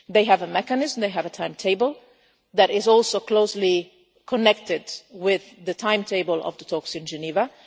They have a mechanism and they have a timetable that is also closely connected with the timetable of the talks in